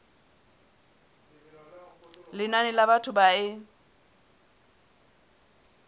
lenane la batho ba e